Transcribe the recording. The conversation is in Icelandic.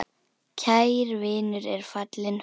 Kær vinur er fallinn frá.